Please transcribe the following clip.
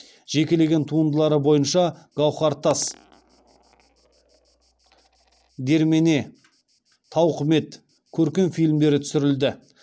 жекелеген туындылары бойынша гауһар тас дермене тауқымет көркем фильмдері түсірілді